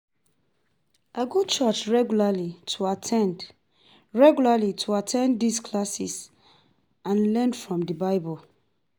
I go church regularly to at ten d regularly to at ten d di classes and learn from di Bible.